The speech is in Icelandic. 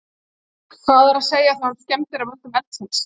Gísli: Hvað er að segja þá um skemmdir að völdum eldsins?